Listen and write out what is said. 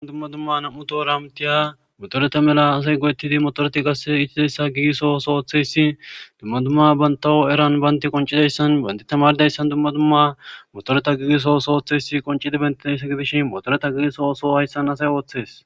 dumma dumma nam7u to ramtiya motorete mela asay go7ettidi motoreti gasse itidayssa giiso sooththeyssi dumma dumma bantaho eran baynti qoncidayssan bayndi tamaldayssan dumma dumma motoreta giiso sooththesi qoncidi bentidayssa gidishi motoreta giiso so hayssan asay ooththes